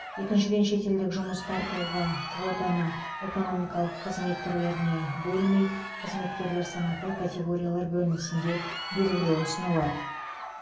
екіншіден шетелдік жұмыс тартуға квотаны экономикалық қызмет түрлеріне бөлмей қызметкерлер санаты категориялар бөлінісінде бегілеу ұсынылады